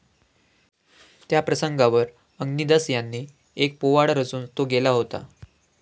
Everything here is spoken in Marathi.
त्या प्रसंगावर अग्निदास यांनी एक पोवाडा रचून तो गेला होता